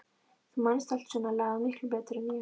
Þú manst allt svona lagað miklu betur en ég.